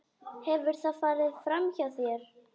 Hefur það farið framhjá þér?